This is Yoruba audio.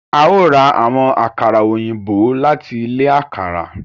A o rá awọn àkàrà òyìnbó lati ilé àkàrà.